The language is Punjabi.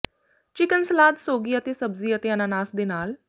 ਚਿਕਨ ਸਲਾਦ ਸੌਗੀ ਅਤੇ ਸਬਜ਼ੀ ਅਤੇ ਅਨਾਨਾਸ ਦੇ ਨਾਲ